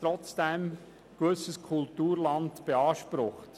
Trotzdem wird gewisses Kulturland beansprucht.